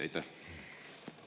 Aitäh!